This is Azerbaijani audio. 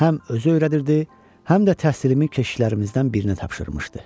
Həm özü öyrədirdi, həm də təhsilimi keşişlərimizdən birinə tapşırmışdı.